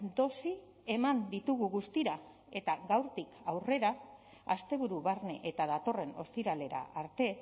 dosi eman ditugu guztira eta gaurtik aurrera asteburu barne eta datorren ostiralera arte